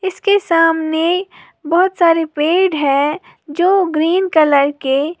उसके सामने बहुत सारे पेड़ है जो ग्रीन कलर के--